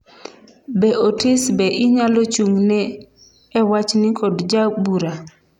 be Otis be inyalo chung'ne e wachni kod jabura